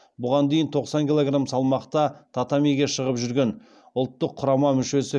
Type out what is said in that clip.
бұған дейін тоқсан килограмм салмақта татамиге шығып жүрген ұлттық құрама мүшесі